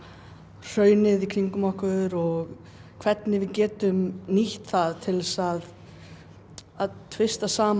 hraunið í kringum okkur og hvernig við getum nýtt það til þess að að tvista saman